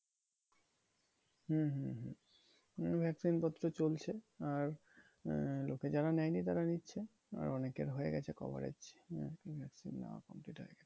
হম হম হম হম vaccine পত্র চলছে। আর আহ লোকে যারা নেয় নি তারা নিচ্ছে। আর অনেকের হয়ে গেছে coverage. আরকি vaccine নেওয়ার পর যেটা আরকি।